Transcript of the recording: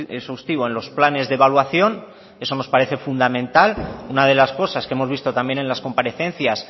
exhaustivo en los planes de evaluación eso nos parece fundamental una de las cosas que hemos visto también en las comparecencias